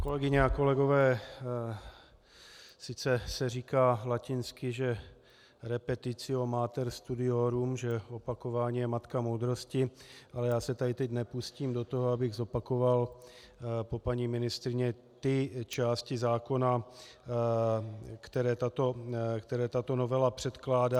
Kolegyně a kolegové, sice se říká latinsky, že repetitio mater studiorum, že opakování je matka moudrosti, ale já se tedy teď nepustím do toho, abych zopakoval po paní ministryni ty části zákona, které tato novela předkládá.